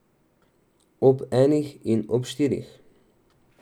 Ob enih in ob štirih.